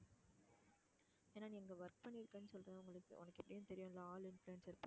ஏன்னா நீ அங்க work பண்ணி இருக்கன்னு சொல்ற உன~உனக்கு எப்படின்னு தெரியும் ஆளு influence இருக்கான்னு